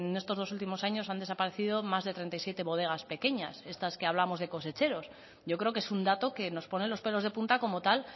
en estos dos últimos años han desaparecido más de treinta y siete bodegas pequeñas estas que hablamos de cosecheros yo creo que es un dato que nos pone los pelos de punta como tal